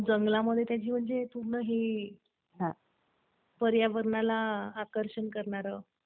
हो, जंगलामध्ये कसं पूर्ण हे पर्यावरणाला आकर्षण करणारं.